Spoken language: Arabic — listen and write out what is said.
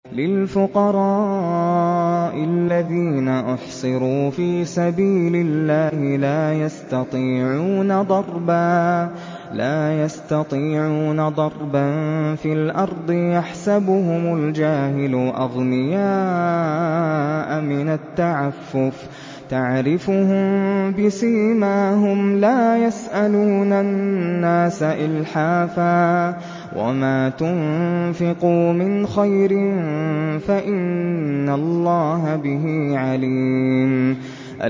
لِلْفُقَرَاءِ الَّذِينَ أُحْصِرُوا فِي سَبِيلِ اللَّهِ لَا يَسْتَطِيعُونَ ضَرْبًا فِي الْأَرْضِ يَحْسَبُهُمُ الْجَاهِلُ أَغْنِيَاءَ مِنَ التَّعَفُّفِ تَعْرِفُهُم بِسِيمَاهُمْ لَا يَسْأَلُونَ النَّاسَ إِلْحَافًا ۗ وَمَا تُنفِقُوا مِنْ خَيْرٍ فَإِنَّ اللَّهَ بِهِ عَلِيمٌ